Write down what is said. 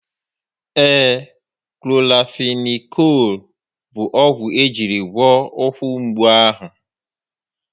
Ee, Kloranfenikụụl bụ ogwu o jírí wee gwọ ụkwụ mgbu ahụ